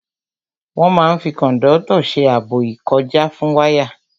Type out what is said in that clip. Wọ́n máa n fi kòndọ́tọ̀ ṣe ààbò ìkọjá fún wáyà